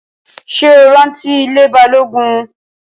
Ṣé o rántí ilée Balógun?